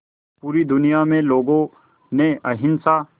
पूरी दुनिया में लोगों ने अहिंसा